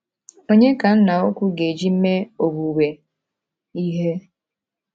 Onye ka Nna Ukwu ga-eji mee owuwe ihe?